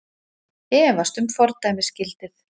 Efast um fordæmisgildið